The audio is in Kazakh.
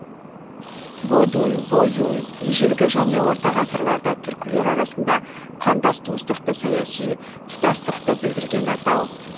бодун бойун ежелгі және орта ғасырларда түркілер арасында қандас туыстықты саяси тұтастықты білдірген атау